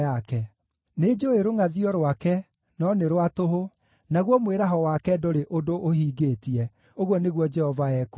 Nĩnjũũĩ rũngʼathio rwake, no nĩ rwa tũhũ, naguo mwĩraho wake ndũrĩ ũndũ ũhingĩtie,” ũguo nĩguo Jehova ekuuga.